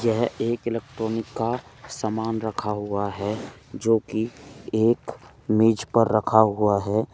यह एक इलेक्ट्रॉनिक का सामान रखा हुआ है जोकि एक मेज पर रखा हुआ है।